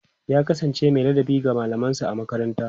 ya kasance Mai ladabi ga mallaman sa a makaranta